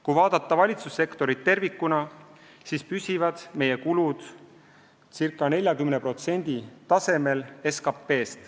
Kui vaadata valitsussektorit tervikuna, siis püsivad meie kulud ca 40% tasemel SKP-st.